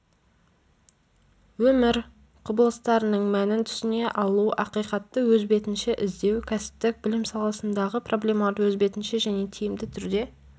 өмір құбылыстарының мәнін түсіне алу ақиқатты өз бетінше іздеу кәсіптік білім саласындағы проблемаларды өз бетінше және тиімді түрде